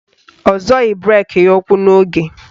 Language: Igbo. Ọ zọghị breki ya ụ́kwụ́ n'oge.